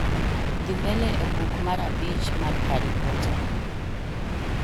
dhi mbele e buk mar abich mar harry potter